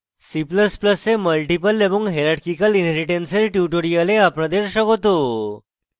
c ++ এ multiple এবং hierarchical inheritance এর tutorial আপনাদের স্বাগত